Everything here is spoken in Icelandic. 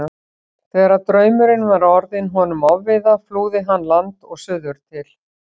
Þegar draumurinn var orðinn honum ofviða flúði hann land og suður til